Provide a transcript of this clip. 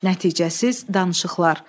Nəticəsiz danışıqlar.